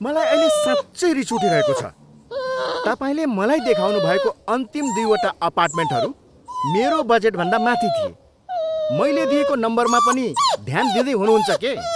मलाई अहिले साँच्चै रिस उठिरहेको छ। तपाईँले मलाई देखाउनुभएको अन्तिम दुई वटा अपार्टमेन्टहरू मेरो बजेटभन्दा माथि थिए। मैले दिएको नम्बरमा पनि ध्यान दिँदै हुनुहुन्छ के?